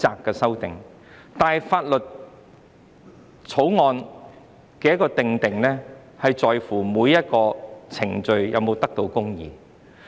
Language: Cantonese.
但是，法案的制定關乎每一個程序是否公義。